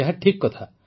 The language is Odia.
ଏହା ଠିକ୍ କଥା